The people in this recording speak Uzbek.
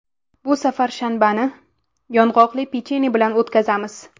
Bu safar shanbani yong‘oqli pechenye bilan o‘tkazamiz.